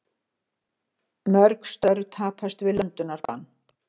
Mörg störf tapast við löndunarbann